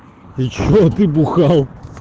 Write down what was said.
и что ты бухал